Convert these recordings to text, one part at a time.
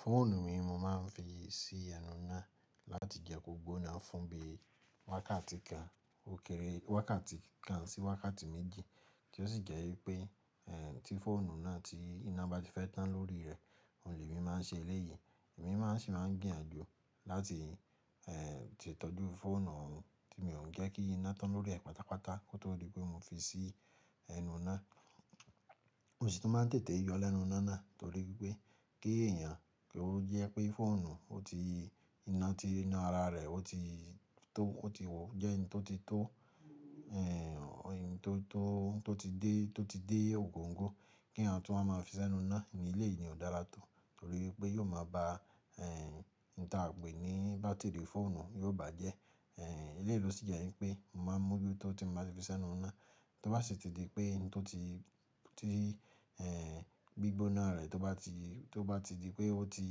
Fóònù mi mo máa ń fi sí ẹnu ina láti jẹ kó gbóná fún bí i wákàtí kan, ó kéré wákàtí kan sí wákàtí méjì tí ó sì jẹ́ wípé, tí fọ́ònù náà ti iná bá ti fẹ́ tán lórí rẹ̀, òun lemi máa ń ṣe eléyìí. Èmi máa sì máa ń gbìyànjú láti ẹ́ ṣe ìtọ́jú fọ́ònù mi, mí ò ń jẹ́ kí iná tán lórí rẹ̀ pátápátá kó tó di pé mo fi sí ẹnu ina. Mo ṣì tun máa ń tètè yọ lẹ́nu ina náà torí wípé kí èèyàn kí ó jẹ́ pé fọ́ònù ọ ti iná ti inú ara re o ti jẹ́ oun tó ti tó, ẹ́ ẹni tó, tó, tó ti dé, tó ti dé ògoǹgò, kí eeyan tún wa máa fi s’ẹ́nu ina ni eléyìí ni ò dára tó torí wípé yóò máa ba ń ta à ń pè ní bátìrì fọ́ònù yóò bàjẹ́. Eléyìí ló sì jẹ́ wípé mo máa ń mú oju tó tí mo bá fi s’ẹ́nu ina tó bá sì ti di pé n tó ti, ti gbígbóná rẹ̀ tó bá ti, tó bá ti di pé ó ti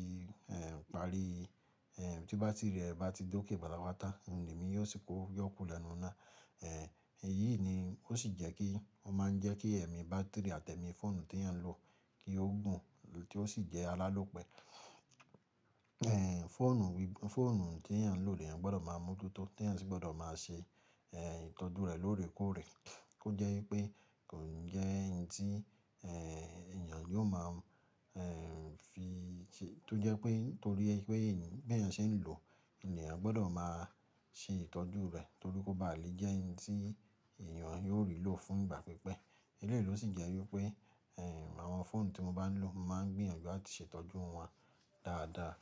parí tí bátìrì rẹ̀ bá ti dókè pátápátá, òun lemi yóò sì kuku yọ́kùro lẹ́nu ina. Èyí ni ó sì jẹ́ kí, ó máa ń jẹ́ kí ẹ̀mí bátìrì àti ẹ̀mí fọ́ònù tí èèyàn ń lò kí ó gùn tí ó sì jẹ́ alálòpẹ́. Fọ́ònù tí èèyàn ń lò lè èèyàn gbọdọ̀ máa mojutó, tí èèyàn sì gbọdọ̀ máa ṣe ìtọ́jú rẹ̀ lóòrèkóòrè. Ó jẹ́ wípé kò ń jẹ́ ẹni tí èèyàn yóò máa fi ṣe, tó jẹ́ pé nítorí wípé bí èèyàn ṣe ń lò, ènìyàn gbọdọ̀ máa ṣe ìtọ́jú rẹ̀ torí kó bá à le jẹ́ n tí èèyàn yóò rí lò fún ìgbà pípẹ́. Eléyìí ló sì jẹ́ wípé àwọn fọ́ònù tí mo bá ń lò máa ń gbìyànjú láti ṣe ìtọ́jú wọn dáadáa.